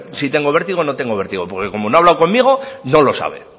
si tengo vértigo o no tengo vértigo porque como no ha hablado conmigo no lo sabe